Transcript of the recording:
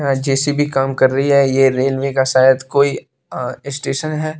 अ J C B काम कर रही है यह रेलवे का शायद कोई अ स्टेशन है।